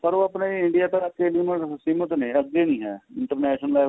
ਪਰ ਉਹ ਆਪਣੇ ਦਾ ਸੀਮਤ ਨੇ ਅੱਗੇ ਨੀਂ ਹੈ international level